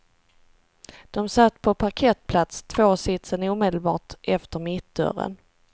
De satt på parkettplats, tvåsitsen omedelbart efter mittdörren.